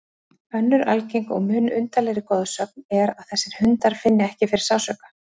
Önnur algeng og mun undarlegri goðsögn er að þessir hundar finni ekki fyrir sársauka.